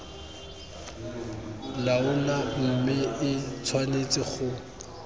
laola mme e tshwanetse go